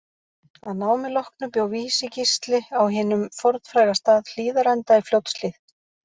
Að námi loknu bjó Vísi-Gísli á hinum fornfræga stað Hlíðarenda í Fljótshlíð.